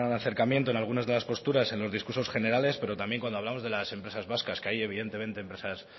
acercamiento en alguna de las posturas en los discursos generales pero también cuando hablamos de las empresas vascas que hay evidentemente empresas